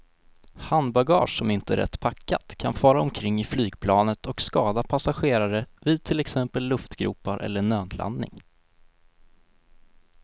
Handbagage som inte är rätt packat kan fara omkring i flygplanet och skada passagerare vid till exempel luftgropar eller nödlandning.